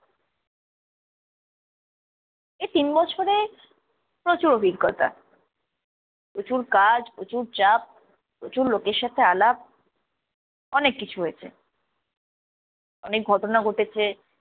এই তিন বছরে প্রচুর অভিজ্ঞতা। প্রচুর কাজ, প্রচুর চাপ, প্রচুর লোকের সাথে আলাপ অনেক কিছু হয়েছে, অনেক ঘটনা ঘটেছে